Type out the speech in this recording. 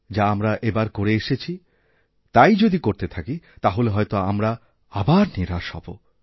যা আমরা এবার করে এসেছি তাই যদি করতেথাকি তাহলে হয়ত আমরা আবার নিরাশ হব